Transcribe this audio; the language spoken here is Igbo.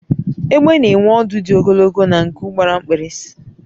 egbe n'enwe ọdụ di ogologo na nku gbara mkpirisi